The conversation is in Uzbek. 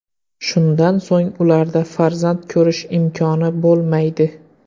Shundan so‘ng ularda farzand ko‘rish imkoni bo‘lmaydi.